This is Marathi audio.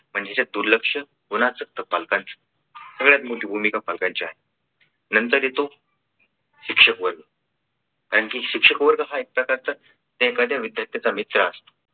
म्हणजे यात दुर्लक्ष कोणाच तर पालकांचं. सगळ्यात मोठी भूमिका पालकांची आहे. नंतर येतो शिक्षक वर्ग कारण की शिक्षक वर्ग हा एक प्रकारचा एखाद्या विद्यार्थ्यांचा मित्र असतो.